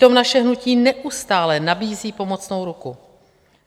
Přitom naše hnutí neustále nabízí pomocnou ruku.